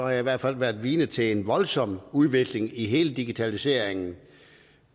jeg i hvert fald været vidne til en voldsom udvikling i hele digitaliseringen